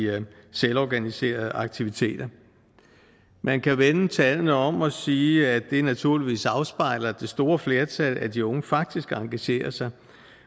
selvorganiserede aktiviteter man kan vende tallene om og sige at det naturligvis afspejler at det store flertal af de unge faktisk engagerer sig